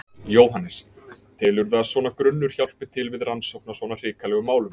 Jóhannes: Telurðu að svona grunnur hjálpi til við rannsókn á svona hrikalegum málum?